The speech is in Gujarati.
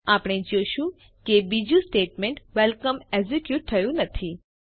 આપણે જોશું કે બીજું સ્ટેટમેન્ટ વેલકમ એકઝીકયુટ થયું નથી